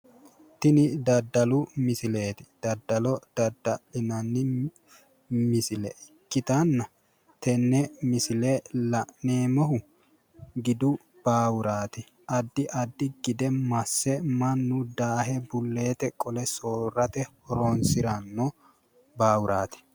Tini daddalu misileeti. Daddalo dadda'linannihu misile ikkitanna tenne misile la'neemmohu gidu baawuraati. Addi addi gide masse mannu daahe bulleete qole soorrate horoonsiranno baawuraati.